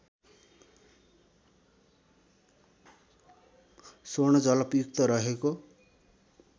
स्वर्ण जलपयुक्त रहेको